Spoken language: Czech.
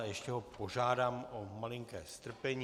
A ještě ho požádám o malinké strpení.